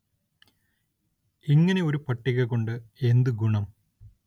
ഇങ്ങനെ ഒരു പട്ടിക കൊണ്ട് എന്തു ഗുണം